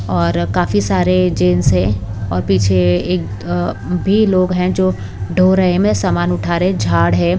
और काफी सारे जेंट्स हैं और पीछे अ एक अ भी लोग हैं जो ढो रहे हैं में समान उठा रहे हैं झाड़ है।